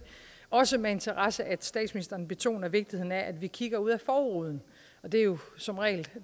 også med interesse at statsministeren betoner vigtigheden af at vi kigger ud af forruden og det er jo som regel